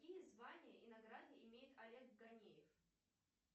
какие звания и награды имеет олег ганеев